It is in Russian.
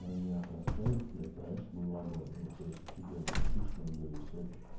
они отрастают блять раньше было огонь ну то есть офигенно пышные были все